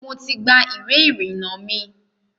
Mo ti gba iwé ìrìnà mi.